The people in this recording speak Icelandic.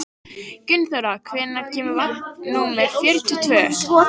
Gunnþóra, hvenær kemur vagn númer fjörutíu og tvö?